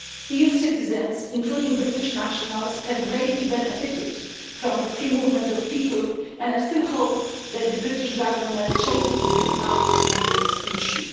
EU citizens, including British nationals, have greatly benefited from the free movement of people and I still hope that the British Government changes its mind on this issue.